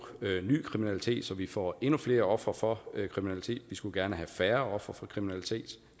ny kriminalitet så vi får endnu flere ofre for kriminalitet vi skulle gerne have færre ofre for kriminalitet